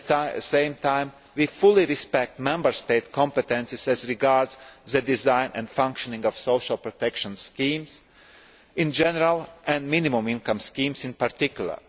report. At the same time, we fully respect Member State competences as regards the design and functioning of social protection schemes in general and minimum income schemes in particular.